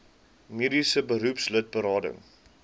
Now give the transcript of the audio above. mediese beroepslid berading